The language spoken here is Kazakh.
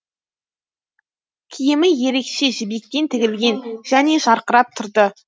киімі ерекше жібектен тігілген және жарқырап тұрды